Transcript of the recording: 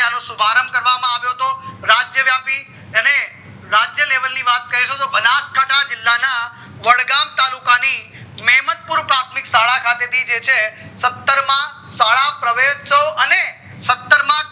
સુભારંભ કરવામાં આવ્યો હતો રાજ્ય વ્યાપી અને રાજ્ય level ની વાત કરીશું તો બનાસકાઠા જીલ્લા ના વડગામ તાલુકા ની મેમતપુર ખાતે પ્રાથમિક શાળા છે સત્તર માં શાળા પરવેશ્ત્સવ અને સત્તર માં